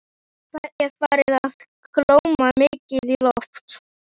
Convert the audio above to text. Það er farið að kólna mikið í lofti.